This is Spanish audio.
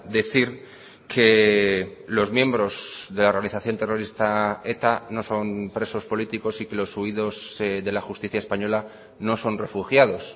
decir que los miembros de la organización terrorista eta no son presos políticos y que los huidos de la justicia española no son refugiados